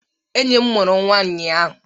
Enyi m mụrụ nnwa ụnyaahụ.